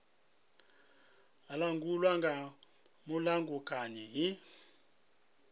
a langulwa nga mulamukanyi hu